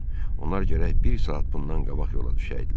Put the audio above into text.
Onlar gərək bir saat bundan qabaq yola düşəydilər.